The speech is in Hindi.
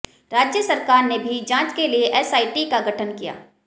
राज्य सरकार ने भी जांच के लिए एसआईटी का गठन किया